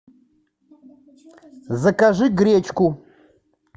закажи гречку